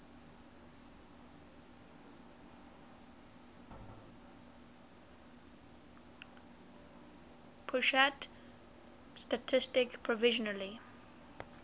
pusat statistik provisionally